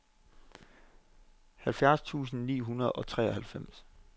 halvfjerds tusind ni hundrede og treoghalvfems